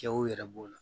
Kɛw yɛrɛ b'o la